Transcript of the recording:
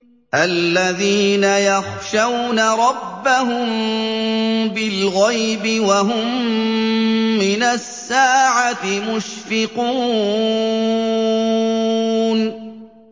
الَّذِينَ يَخْشَوْنَ رَبَّهُم بِالْغَيْبِ وَهُم مِّنَ السَّاعَةِ مُشْفِقُونَ